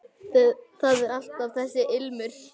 Það er alltaf þessi ilmur.